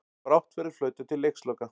Brátt verður flautað til leiksloka